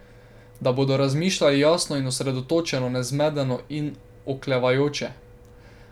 Da bodo razmišljali jasno in osredotočeno, ne zmedeno in oklevajoče.